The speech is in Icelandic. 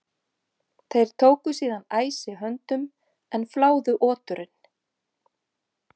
Þeir tóku síðan æsi höndum en fláðu oturinn.